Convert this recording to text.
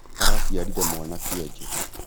Araciarire mwana kionje